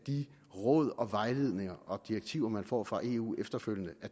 de råd og vejledninger og direktiver man får fra eu efterfølgende